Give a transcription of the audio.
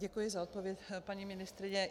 Děkuji za odpověď, paní ministryně.